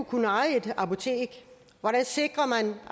kunne eje et apotek hvordan sikrer man